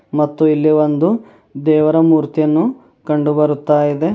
ಮತ್ತೆ ಇಲ್ಲಿ ಒಂದು ದೇವರ ಮೂರ್ತಿಯನ್ನು ಕಂಡು ಬರುತ್ತಾ ಇದೆ.